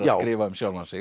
skrifa um sjálfan sig